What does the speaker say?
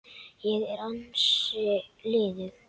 Ég er ansi liðug!